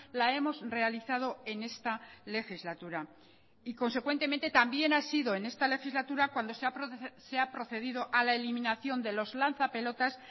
la hemos realizado en esta legislatura y consecuentemente también ha sido en esta legislatura cuando se ha procedido a la eliminación de los lanza pelotas